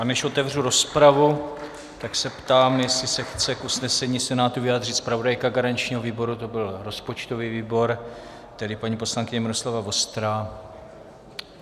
A než otevřu rozpravu, tak se ptám, jestli se chce k usnesení Senátu vyjádřit zpravodajka garančního výboru, to byl rozpočtový výbor, tedy paní poslankyně Miroslava Vostrá.